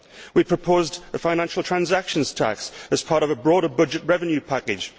We proposed a financial transactions tax as part of a broader budget revenue package.